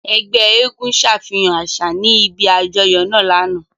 Ẹgbẹ èègún ṣafihan aṣa ni ibi ajọyọ naa lana.